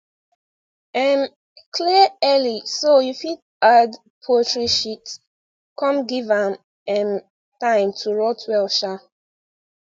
um clear early so you fit add poultry sheet come give am um time to rot well um